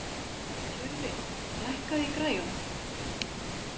Tjörfi, lækkaðu í græjunum.